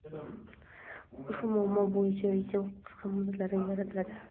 Ushbu muammo bo‘yicha yechim qisqa muddatlarda yaratiladi.